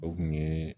O kun ye